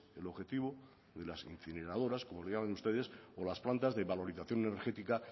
el objetivo de las incineradoras como les llaman ustedes o las plantas de valorización energética